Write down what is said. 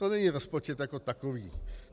To není rozpočet jako takový.